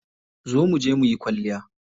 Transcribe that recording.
Zo muje muyi kwalliya.